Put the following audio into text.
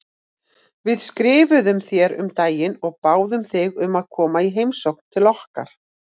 Við skrifuðum þér um daginn og báðum þig um að koma í heimsókn til okkar.